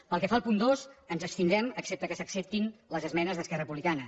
pel que fa al punt dos ens abstindrem excepte que s’acceptin les esmenes d’esquerra republicana